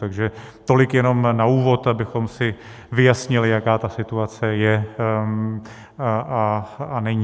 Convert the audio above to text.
Takže tolik jenom na úvod, abychom si vyjasnili, jaká ta situace je a není.